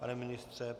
Pane ministře?